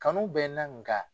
Kanu bɛ na nga.